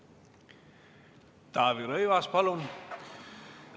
Taavi Rõivas, palun!